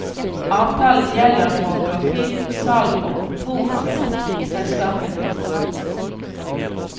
Avtalen gjelder for trafikk, salg og kontoransatte i selskapene.